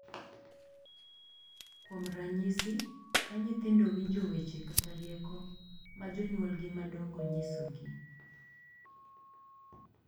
Kuom ranyisi, ka nyithindo winjo weche kata rieko ma jonyuolgi madongo nyisogi, .